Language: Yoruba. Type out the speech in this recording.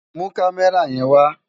Mú Kàmèrá yèn wá